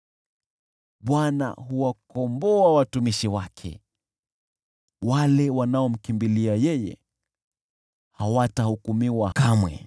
Bwana huwakomboa watumishi wake, yeyote anayemkimbilia yeye hatahukumiwa kamwe.